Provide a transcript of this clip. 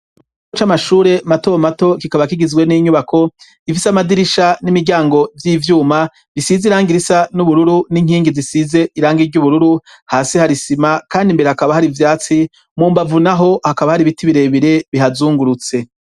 ikigo c'amashure mato mato kikaba kigizwe n'inyubako gifise amadirisha n'imiryango vy'ivyuma bisize irangi risa n'ubururu n'inkingi zisize iranga iry'ubururu hasi hari sima kandi imbere hakaba hari ivyatsi mumbavu naho hakaba hari ibiti birebire bihazungurutse